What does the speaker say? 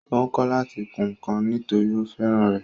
Ó ń kọ́ láti kun ǹkan nítòrí ó fẹ́ràn rẹ̀